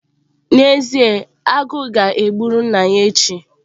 Ee n'ezie, Agu ga-egburu nna ya ehi.